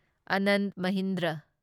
Anand Mahindra